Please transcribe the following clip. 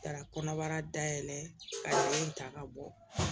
Ka kɔnɔbara dayɛlɛ ka yiri in ta ka bɔ